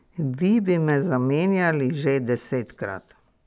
Vi bi me zamenjali že desetkrat ...